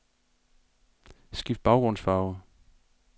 Skift baggrundsfarve.